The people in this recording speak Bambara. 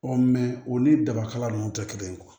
u ni daba kala nunnu tɛ kelen ye